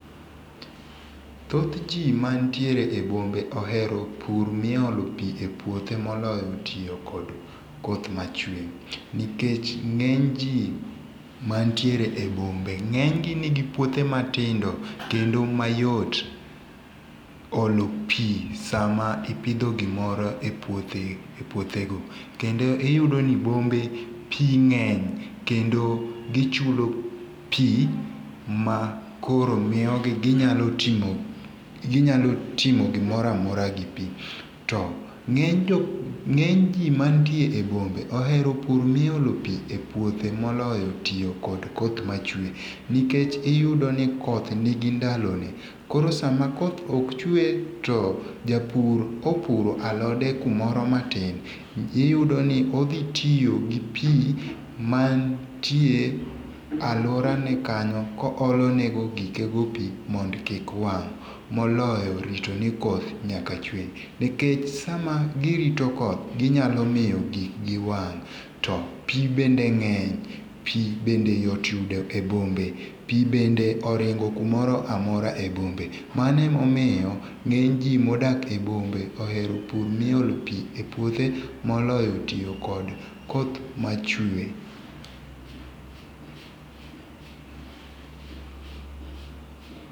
Thoth ji manitie e bombe ohero pur miolo pi e puothe moloyo tiyo kod koth ma chwe nikech ng'eny ji mantiere e bombe ng'eny gi nigi puothe matindo kendo mayot olo pi sa ma ipidho gimoro e puothe go kendo iyudo ni bombe pi ng'eny kendo gichulo pi ma koro miyo gi ginyalo timo gimoro amora gi pi. To ng'eny ng'eny ji mantie e bombe ohero pur mi olo pi e puothe moloyo tiyo kod koth ma chwe nikech iyudo ni koth nigi ndalo ne koro sama koth ok chwe to japur kopuro alode kumoro matin iyudo ni odhi tiyo gi pi mantie aluora ne kanyo koole ne gikego pi mondo kik wang' moloyo rito ni koth nyaka chwe nikech sama girito koth ginyalo miyo gik gi wang' to pi bende ng'eny pi bende yudo yot e bombe pi bende oringo kumoro amora e bombe. Mano emomiyo ng'eny ji modak e bombe ohero pur miolo pi e puothe moloyo tiyo kod koth machwe.